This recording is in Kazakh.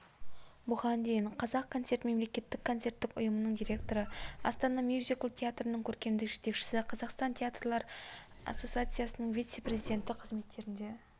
бұған дейін қазақконцерт мемлекеттік концерттік ұйымының директоры астана мюзикл театрының көркемдік жетекшісі қазақстан театрлар ассоциациясының вице-президенті қызметтерінде